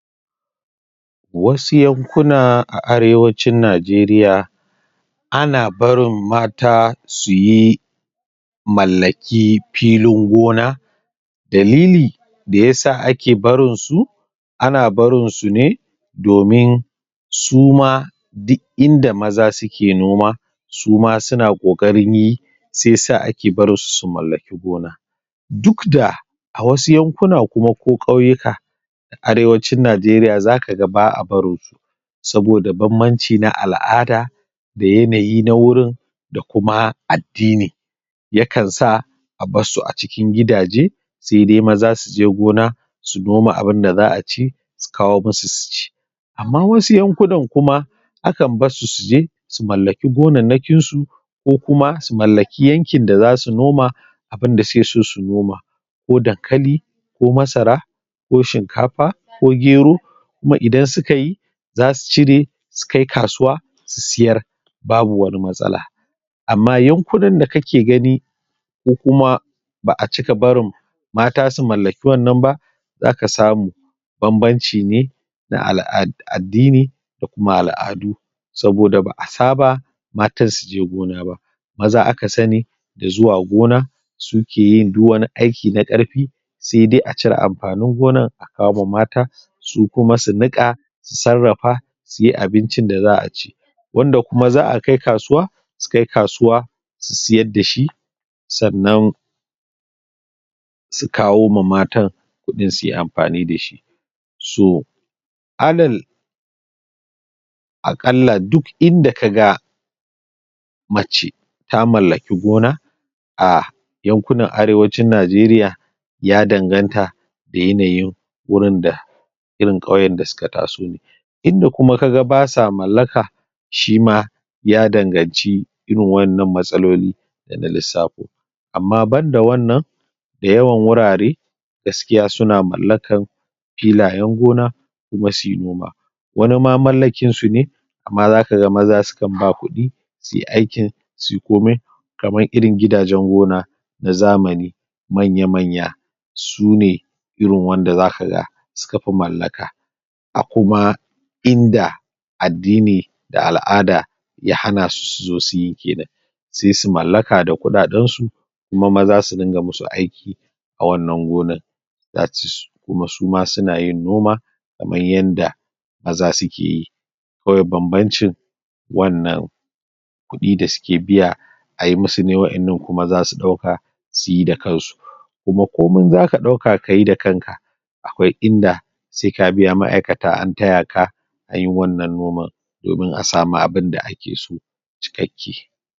Wasu yankuna a arewacin Najeriya ana barin mata su yi mallaki filin gona. Dalili da ya sa ake barin su ana barin su ne domin su ma duk inda maza suke noma su ma su na ƙoƙarin yi shi ya sa ake barinsu su mallaki gona. Duk da a wasu yankuna kuma ko ƙauyukan arewacin Najeriya za ka ga ba'a barin saboda bam-banci na al'ada da yanayi na wurin da kuma addini, yakan sa a barsu a cikin gidaje sai dai maza suje gona su noma abunda za'a ci, su kawo musu su ci. Amma wasu yankunan kuma akan barsu suje, su mallaki gonannakin su ko kuma su mallaki yankin da za su noma abunda suke so su noma. Ko dankali, ko masara, ko shinkafa, ko gero. Kuma idan suka yi za su cire, su kai kasuwa su siyara babu wani matsala. Amma yankunan da kake gani ko kuma ba'a cika barin mata su mallaki wannan ba, za ka samu bam-banci ne na ala'a addini, da kuma al'adu saboda ba'a saba matan suje gona ba. Maza aka sani da zuwa gona su ke yin duk wani aiki na ƙarfi sai dai acire amfanin ganar a kawoma mata su kuma su niƙa, su sarrafa, su yi abincin da za'a ci. Wanda kuma za'a kai kasuwa, su kai kasuwa, su siyar da shi, sannan su kawoma matan kuɗi suyi amfani dasu. So alal aƙalla duk inda kaga mace ta mallaki gona, a yankunan arewacin Najeriya ya danganta da yanayin wurin da irin ƙauyen da su ka taso. Inda kuma kaga ba sa mallaka shima, ya danganci irin waƴannan matsaloli da na lissafo, amma banda wannan da yawan wurare gaskiya su na mallakan filayen gona, kuma suyi noma. Wani ma mallakinsu ne amma za kaga maza sukan ba kuɗi suyi aikin, suyi komai kamar irin gidajen gona na zamani manya-manya, sune irin wanda za kaga su ka fi mallaka, a kuma inda addini da al'ada ya hana su, su zo su yi ginin sai su mallaka da kuɗaɗensu kuma maza su dinga musu aiki a wannan gonar that is, kuma su ma su na yin noma kaman yanda maza suke yi, kawai bam-bancin wannan kuɗi da suke biya ayi musu ne, waƴannan kuma za su ɗauka su yi da kansu. kuma komin za ka ɗauka kayi da kanka akwai inda sai ka biya ma'akata an ta ya ka yin wannan noman domin a samu abunda ake so cikakke.